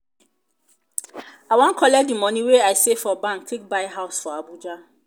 i wan collect di moni wey i save for bank take buy house for abuja.